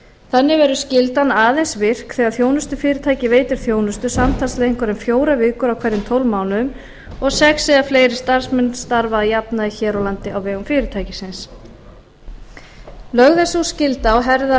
þannig verður skyldan aðeins virk þegar þjónustufyrirtæki veitir þjónustu samtals lengur en fjórar vikur á hverjum tólf mánuðum og sex eða fleiri starfsmenn starfa að jafnaði hér á landi á vegum fyrirtækisins lögð er sú skylda á herðar